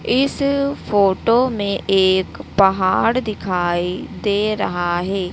इस फोटो में एक पहाड़ दिखाई दे रहा है।